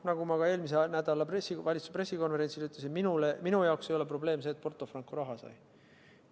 Nagu ma eelmise nädala valitsuse pressikonverentsil ütlesin, siis minu jaoks ei ole probleem see, et Porto Franco raha sai.